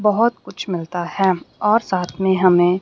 बहुत कुछ मिलता है और साथ में हमें--